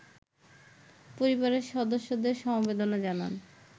পরিবারের সদস্যদের সমবেদনা জানান